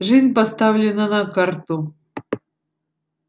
жизнь поставлена на карту